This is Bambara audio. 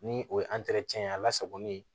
Ni o ye ye a lasagolen ye